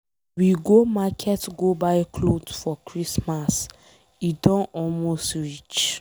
We go market go buy cloth for Christmas. E don almost reach.